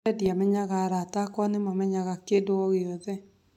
Mbere ndĩamenyaga arata makwa nimamenyaga kĩndu ogĩothe